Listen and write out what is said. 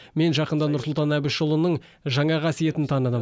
мен жақында нұрсұлтан әбішұлының жаңа қасиетін таныдым